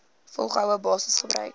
volgehoue basis gebruik